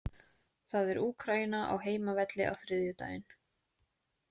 Það er Úkraína á heimavelli á þriðjudaginn.